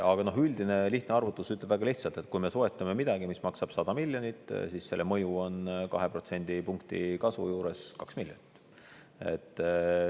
Aga üldine lihtne arvutus ütleb väga lihtsalt, et kui me soetame midagi, mis maksab 100 miljonit, siis selle mõju on 2-protsendipunktilise kasvu juures 2 miljonit.